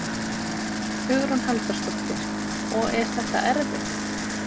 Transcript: Hugrún Halldórsdóttir: Og er þetta erfitt?